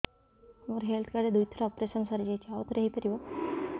ମୋର health card ରେ ଦୁଇ ଥର ଅପେରସନ ସାରି ଯାଇଛି ଆଉ ଥର ହେଇପାରିବ